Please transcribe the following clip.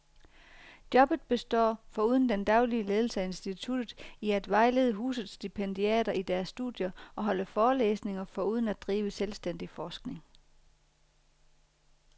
Jobbet består, foruden den daglige ledelse af instituttet, i at vejlede husets stipendiater i deres studier og holde forelæsninger foruden at drive selvstændig forskning.